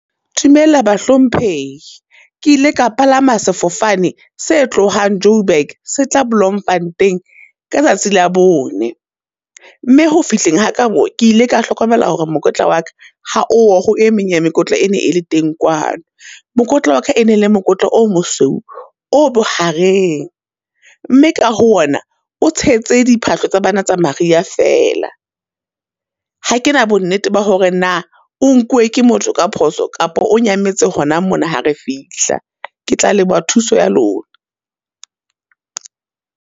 Dumela bahlomphehi, ke ile ka palama sefofane se tlohang Joburg se tla Bloemfontein ka tsatsi la bone. Mme ho fihleng ha ka mo, ke ile ka hlokomela hore mokotla wa ka ha oyo ho e meng ya mekotla e ne e le teng kwano. Mokotla wa ka e ne e le mokotla o mosweu, o bohareng, mme ka ho ona o tshetse diphahlo tsa bana tsa mariha fela. Ha ke na bonnete ba hore na, o nkuwe ke motho ka phoso kapo o nyametse hona mona ha re fihla? Ke tla leboha thuso ya lona.